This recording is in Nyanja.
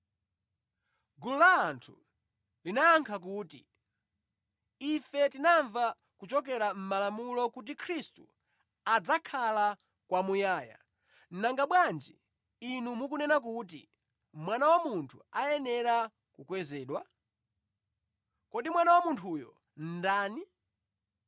Gulu la anthu linayankha kuti, “Ife tinamva kuchokera mʼmalamulo kuti Khristu adzakhala kwamuyaya, nanga bwanji Inu mukunena kuti, ‘Mwana wa Munthu ayenera kukwezedwa?’ Kodi Mwana wa Munthuyu ndani?”